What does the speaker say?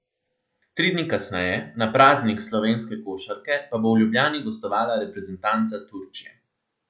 Tri dni kasneje, na Praznik slovenske košarke pa bo v Ljubljani gostovala reprezentanca Turčije.